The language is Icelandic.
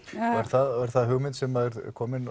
er það hugmynd sem er komin